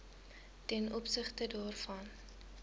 ten opsigte daarvan